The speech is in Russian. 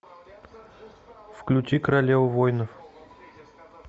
включи королева воинов